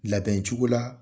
Labɛn cogo la